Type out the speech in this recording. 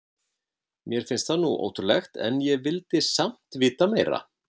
Mér fannst það nú ótrúlegt en ég vildi samt vita meira.